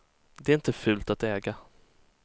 Det är inte fult att äga.